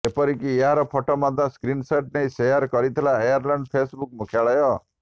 ଏପରିକି ଏହାର ଫଟୋ ମଧ୍ୟ ସ୍କ୍ରିନସଟ ନେଇ ସେୟାର କରିଥିଲା ଆର୍ୟଲାଣ୍ଡ ଫେସ୍ବୁକ୍ ମୁଖ୍ୟାଳୟ